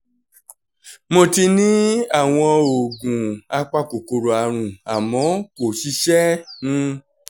mo ti ní àwọn oògùn apakòkòrò àrùn àmọ́ kò ṣiṣẹ́ um